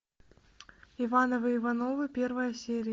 ивановы ивановы первая серия